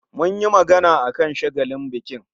Mun yi magana akan shagalin bikin